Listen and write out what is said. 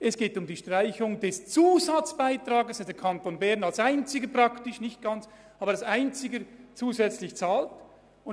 Es geht um die Streichung des Zusatzbeitrags, den der Kanton Bern fast als einziger Kanton bezahlt.